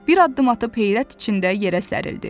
Bir addım atıb heyrət içində yerə sərildi.